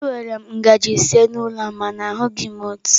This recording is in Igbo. Enwere m ngaji ise n'ụlọ a mana ahụghị m otu.